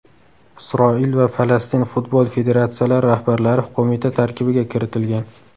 Isroil va Falastin futbol federatsiyalari rahbarlari qo‘mita tarkibiga kiritilgan.